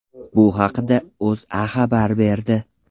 Bu haqda O‘zA xabar berdi .